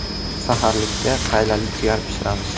Saharlikka qaylali jigar pishiramiz.